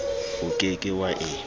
o ke ke wa e